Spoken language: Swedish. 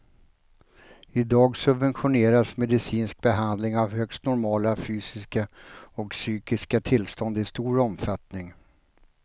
I dag subventioneras medicinsk behandling av högst normala fysiska och psykiska tillstånd i stor omfattning.